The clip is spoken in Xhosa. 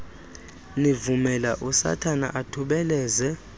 nivumela usathana athubeleze